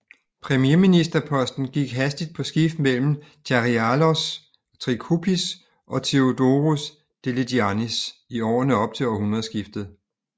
Premierministerposten gik hastigt på skift mellem Charilaos Trikoupis og Theodoros Deligiannis i årene op til århundredskiftet